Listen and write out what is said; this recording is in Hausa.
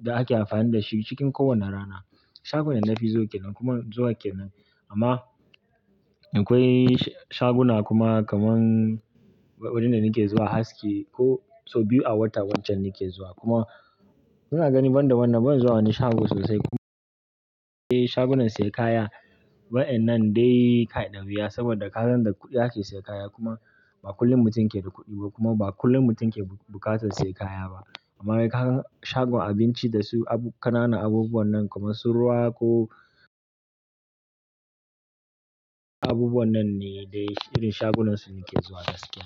da ake amfani da shi cikin kowane rana. Shagon da na fi zuwa ke nan kuma zuwa ke nan. Amma akwai shaguna kuma kamar wurin da nake zuwa aski ko so biyu a wata wancan nake zuwa. Kuma inaga ni banda wannan ban zo wani shago sosai. Kuma eh shagunan sayan kaya waɗannan dai kaɗan biya saboda kasan da kuɗi ake sayan kaya kuma ba kullum mutum ke da kuɗi ba kuma ba kullum mutum ke buƙatar sayan kaya ba. Amma ka gan shagon abinci da su abu ƙanana abubuwan nan kamar su ruwa ko abubuwan nan ne dai irin shagunan su nake zuwa gaskiya.